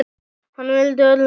Hann vildi öllum vel.